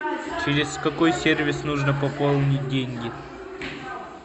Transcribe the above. через какой сервис нужно пополнить деньги